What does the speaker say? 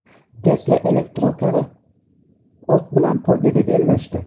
Tesla elektrokari ot bilan poygada bellashdi .